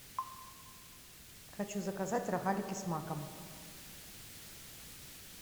хочу заказать рогалики с маком